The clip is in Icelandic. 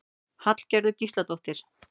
Hallgerður Gísladóttir.